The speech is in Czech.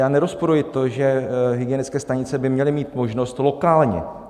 Já nerozporuji to, že hygienické stanice by měly mít možnost lokálně.